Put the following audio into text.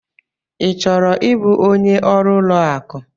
I chọrọ ịbụ onye ọrụ ụlọ akụ?